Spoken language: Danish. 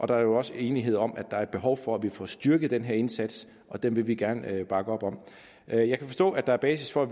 der er også enighed om at der er et behov for at få styrket den her indsats den vil vi gerne bakke op om jeg jeg kan forstå at der er basis for at